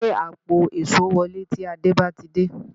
Gbé àpò èṣó wọlé tí Àdé bá ti dé